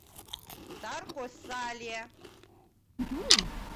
тарко сале